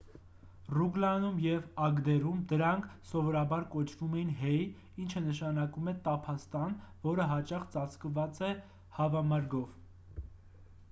ռուգլանում և ագդերում դրանք սովորաբար կոչվում են հեյ ինչը նշանակում է տափաստան որը հաճախ ծածկված է հավամրգով